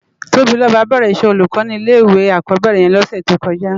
Tobiloba bèrè iṣè ólúkò ni ilé iwé ákòbèrè yèn lòsè tókòjá